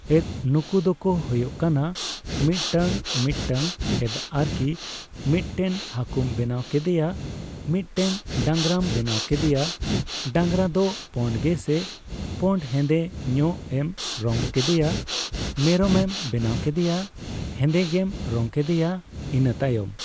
ᱮᱫ ᱱᱩᱠᱩ ᱫᱚᱠᱚ ᱦᱳᱭᱳᱜ ᱠᱟᱱᱟ ᱢᱤᱛ ᱴᱟᱝ ᱢᱤᱛᱴᱟᱝ ᱮᱫ ᱟᱨᱠᱤ ᱢᱤᱫᱴᱮᱱ ᱠᱟᱹᱦᱩᱢ ᱵᱮᱱᱟᱣ ᱠᱮᱫᱮᱭᱟ, ᱢᱤᱫᱴᱮᱱ ᱰᱟᱝᱨᱟᱢ ᱵᱮᱱᱟᱣ ᱠᱮᱫᱮᱭᱟ, ᱰᱟᱝᱨᱟ ᱫᱚ ᱯᱳᱰ ᱜᱮ ᱥᱮ ᱯᱳᱰ ᱦᱮᱸᱫᱮ ᱧᱚᱜ ᱮᱢ ᱨᱚᱝ ᱠᱮᱫᱮᱭᱟ, ᱢᱮᱨᱚᱢ ᱮᱢ ᱵᱮᱱᱟᱣ ᱠᱮᱫᱮᱭᱟ ᱦᱮᱸᱫᱮ ᱜᱮᱢ ᱨᱚᱜᱝ ᱠᱮᱫᱮᱭᱟ ᱤᱱᱟᱹᱛᱟᱭᱚᱢ